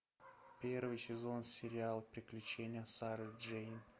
первый сезон сериал приключение сары джейн